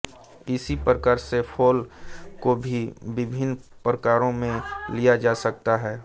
इसी प्रकार से्फ्रोल को भी विभिन्न प्रयोगों में लिया जा सकता है